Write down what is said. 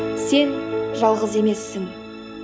сен жалғыз емессің